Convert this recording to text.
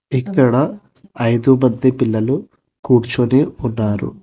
ఇక్కడ ఐదు మంది పిల్లలు కూర్చొని ఉన్నారు.